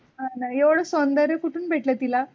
हाना येवढ सौंदर्य कुठून भेटल तिला?